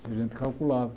Isso a gente calculava.